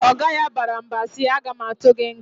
Oga ya bara mba si, "A ga ma atụ gị nga!"